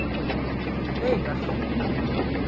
Veigar